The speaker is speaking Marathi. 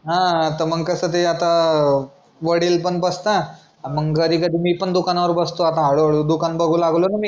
हां मग कसं ते आता अं वडील पण बसतात आणि घरी कसं मी पण दुकानावर बसतो आता हळूहळू दुकान बागू लागलो ना मी